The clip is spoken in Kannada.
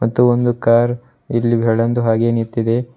ಇದು ಒಂದು ಕಾರ್ ಇಲ್ಲಿ ಬೆಳ್ಳಂದು ಹಾಗೇ ನಿಂತಿದೆ.